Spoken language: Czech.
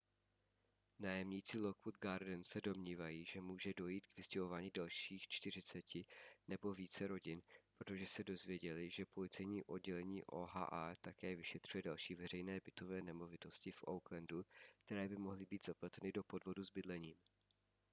nájemníci lockwood gardens se domnívají že může dojít k vystěhování dalších 40 nebo více rodin protože se dozvěděli že policejní oddělení oha také vyšetřuje další veřejné bytové nemovitosti v oaklandu které by mohly být zapleteny do podvodu s bydlením